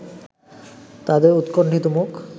তাদের উৎকণ্ঠিত মুখ